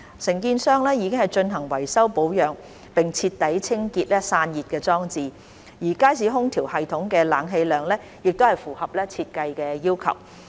承建商已進行維修保養並徹底清潔散熱裝置，而街市空調系統的冷氣量亦符合設計要求。